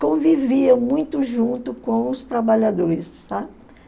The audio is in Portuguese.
convivia muito junto com os trabalhadores, sabe?